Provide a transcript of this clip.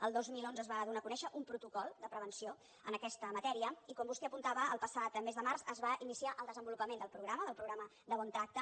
el dos mil onze es va donar a conèixer un protocol de prevenció en aquesta matèria i com vostè apuntava el passat mes de març es va iniciar el desenvolupament del programa del programa de bon tracte